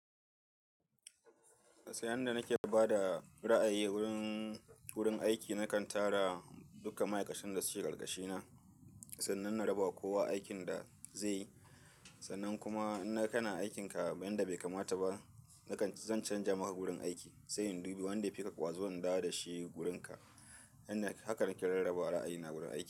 Ta yanda nake bada ra'ayi wurin, wurin aiki nakan tara duka ma'aikatan da suke ƙarƙashina sannan na raba ma kowa aikin da zai yi. Sannan kuma in naga kana aikinka yanda bai kamata ba, nakan, zan canja maka wurin aiki, sai in dubi wanda fika kwazo in dawo da shi wurinka. Yanda hakan nake rarraba ra'ayina wurin aiki.